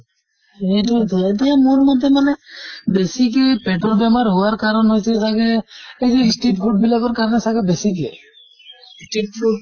সেইতোয়েটো এতিয়া মোৰ মতে মানে বেছিকে পেটৰ বেমাৰ হোৱাৰ কাৰণ হৈছে চাগে এই যে street food বিলাকৰ কাৰণে আমাৰ চাগে বেছি কে কিন্তু